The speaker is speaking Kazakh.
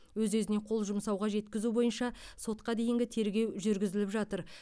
өз өзіне қол жұмсауға жеткізу бойынша сотқа дейінгі тергеу жүргізіліп жатыр